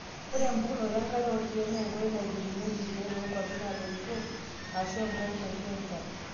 Ore embukokinoto enkare oorkiek naa ekoitoi naitubulunyieki irkiek toonkwapi naatoito eshuu enkop kitii enchan.